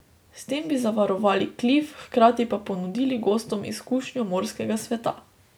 S tem bi zavarovali klif, hkrati pa ponudili gostom izkušnjo morskega sveta.